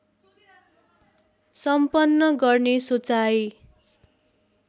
सम्पन्न गर्ने सोचाइ